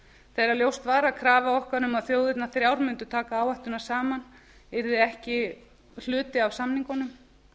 þegar ljóst var að krafa okkar um að þjóðirnar þrjár mundu taka áhættuna saman yrði ekki hluti af samningunum